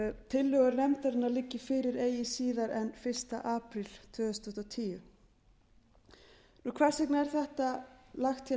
tillögur nefndarinnar liggi fyrir eigi síðar en fyrsti apríl tvö þúsund og tíu hvers vegna er þetta lagt hér